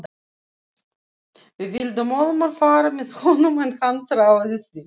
Við vildum ólmir fara með honum en hann þráaðist við.